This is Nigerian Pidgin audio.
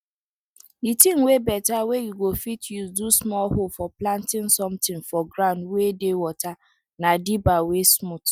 the thing wey better wey you go fit use do small hole for planting something for ground wey dey water na dibber wey smooth